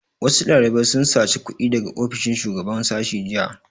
Wasu ɗalibai sun saci kuɗi daga ofishin shugaban sashi jiya